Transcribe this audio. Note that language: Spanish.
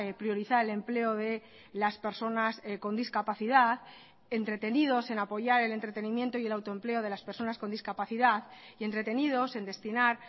priorizar el empleo de las personas con discapacidad entretenidos en apoyar el entretenimiento y el autoempleo de las personas con discapacidad y entretenidos en destinar